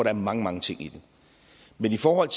er mange mange ting i det men i forhold